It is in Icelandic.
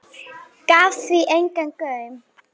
Gaf því engan gaum.